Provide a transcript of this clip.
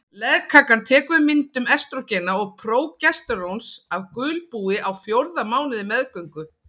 Legkakan tekur við myndun estrógena og prógesteróns af gulbúi á fjórða mánuði meðgöngu.